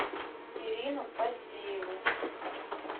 ирину поздееву